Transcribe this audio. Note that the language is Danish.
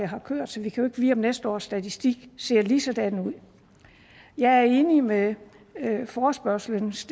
har kørt så vi kan jo næste års statistik ser ligesådan ud jeg er enig med forespørgslens